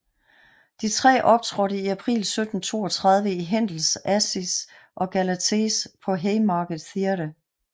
De tre optrådte i april 1732 i Händels Acis og Galates på Haymarket theatre